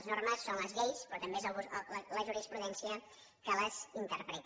les normes són les lleis però també és la jurisprudència que les interpreta